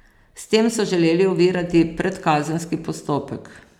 S tem so želeli ovirati predkazenski postopek.